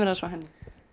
aðeins frá henni